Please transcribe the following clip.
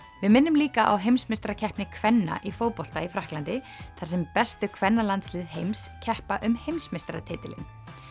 við minnum líka á heimsmeistarakeppni kvenna í fótbolta í Frakklandi þar sem bestu kvennalandslið heims keppa um heimsmeistaratitilinn